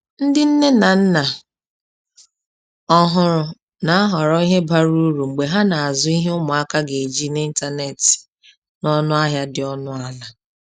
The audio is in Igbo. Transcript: Ndị nne na nna ọhụrụ na-ahọrọ ihe bara uru mgbe ha na-azụ ihe ụmụaka ga-eji n’ịntanetị n’ọnụ ahịa dị ọnụ ala.